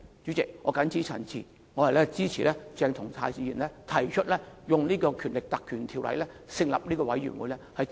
主席，我謹此陳辭，支持鄭松泰議員提出引用《立法會條例》成立專責委員會，調查整件事。